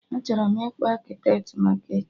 Achọrọ m ịkpọ Akịtet maka echi